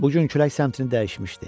Bu gün külək səmtini dəyişmişdi.